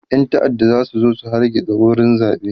ƴan ta'adda zasu zo su hargitsa wurin zaɓen